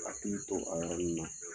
to a yɔrɔ in na.